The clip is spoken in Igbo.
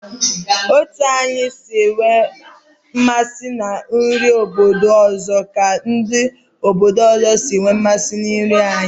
Otu anyi si enwe mmasị na nri obodo ọzọ ka ndị obodo ọzọ si enwe mmasị na nri anyị.